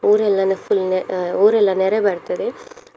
ಊರೆಲ್ಲ ಅಂದ್ರೆ full ಊರೆಲ್ಲ ನೆರೆ ಬರ್ತದೆ.